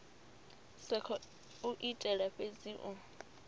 sa khou itela fhedzi u